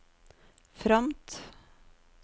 fromt